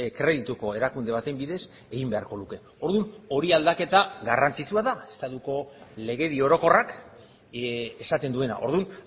kredituko erakunde baten bidez egin beharko luke orduan aldaketa hori garrantzitsua da estatuko legedi orokorrak esaten duena orduan